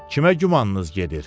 Kimə gümanınız gedir?